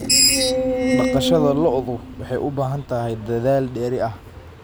Dhaqashada lo'du waxay u baahan tahay dadaal dheeri ah.